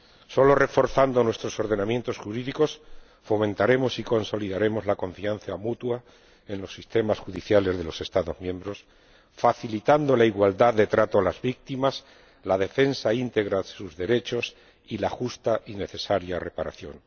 Solo reforzando nuestros ordenamientos jurídicos fomentaremos y consolidaremos la confianza mutua en los sistemas judiciales de los Estados miembros, facilitando la igualdad de trato a las víctimas, la defensa íntegra de sus derechos y la justa y necesaria reparación.